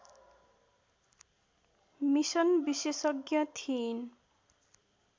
mission विशेषज्ञ थिइन्